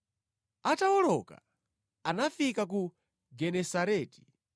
Atawoloka, anafika ku Genesareti.